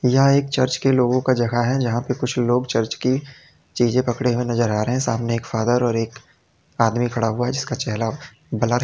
यहां एक चर्च के लोगों का जगह है जहां पर कुछ लोग चर्च की चीज पकड़े नजर आ रहे हैं सामने एक फादर और एक आदमी खड़ा हुआ जिसका चेहरा ब्लर है।